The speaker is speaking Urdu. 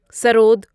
سرود